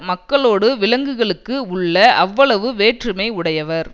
மக்களோடு விலங்குகளுக்கு உள்ள அவ்வளவு வேற்றுமை உடையவர்